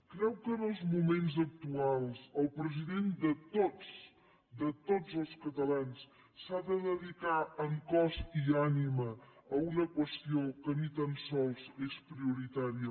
creu que en els moments actuals el president de tots de tots els catalans s’ha de dedicar en cos i ànima a una qüestió que ni tan sols és prioritària per als catalans